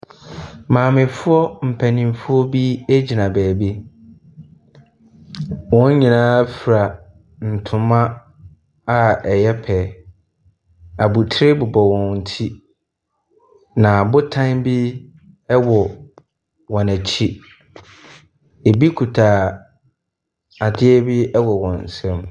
Maamefoɔ mpaninfoɔ bi ɛgyina baabi. Wɔn nyina fira ntoma a ɛyɛ pɛ. Abotire bobɔ wɔn ti na botan bi ɛwɔ wɔn akyi. Ɛbi kuta adeɛ bi ɛwɔ wɔn nsɛm.